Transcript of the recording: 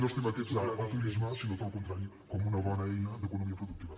no estigmatitzar el turisme sinó el contrari com una bona eina d’economia productiva